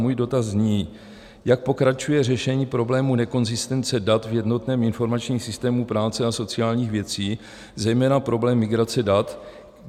Můj dotaz zní: Jak pokračuje řešení problému nekonzistence dat v jednotném informačním systému práce a sociálních věcí, zejména problém migrace dat?